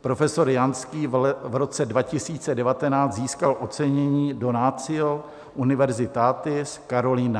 profesor Janský v roce 2019 získal ocenění Donatio Universitatis Carolinae.